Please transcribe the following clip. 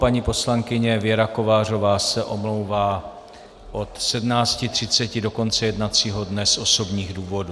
Paní poslankyně Věra Kovářová se omlouvá od 17.30 do konce jednacího dne z osobních důvodů.